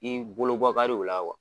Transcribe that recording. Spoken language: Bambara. I bolo bɔ ka di o la